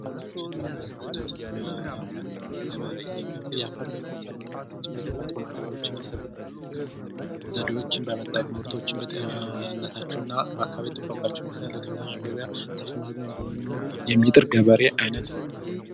የመደዎችን የፀራተቢ የደኙቶች የሚያመርት ገበር ይህ ገበሬ የፈር ለምነት ለመተብክናል ምጭመ የተፈጥሩ ማይደበሎችና ስብል ዘዴዎችን በመጠቅ ሙርቶችን በጤንነታቸው እና በአካቢ ጥበቃቸው ምክንያት ለከፍተኛ ገበያ ተፈናግኑ እንዲኖሩ የሚጥር ገበሬ ዓይነት ነው።